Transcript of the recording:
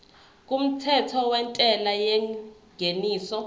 kumthetho wentela yengeniso